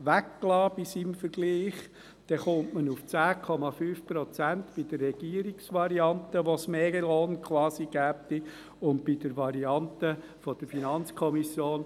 bei seinem Vergleich weggelassen –, dann kommt man auf 10,5 Prozent mehr Lohn bei der Regierungsvariante und auf 7,5 Prozent bei der Variante der FiKo.